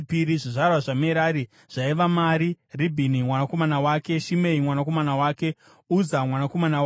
Zvizvarwa zvaMerari zvaiva: Mari, Ribhini mwanakomana wake, Shimei mwanakomana wake, Uza mwanakomana wake,